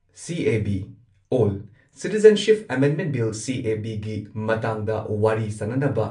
CAB or citizenship amendment bill CAB ꯒꯤ ꯃꯇꯥꯡꯗ ꯋꯥꯔꯤ ꯁꯥꯟꯅꯅꯕ